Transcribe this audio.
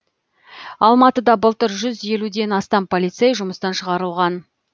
алматыда былтыр жүз елуден астам полицей жұмыстан шығарылған